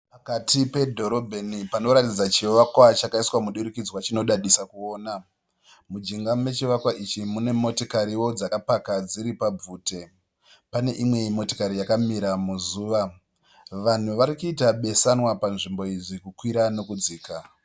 Pakati pedhorobheni panoratidzaa chivakwa chakaiswa mudurikidzwa chinodadisa kuona. Mujinga mechivakwa ichi munemotikariwo dzakapaka dziripabvute. Pane imwe motikari yakamira muzuva. Vanhu varikuita besanwa panzvimbo iyi zvirikukwira nekudzika.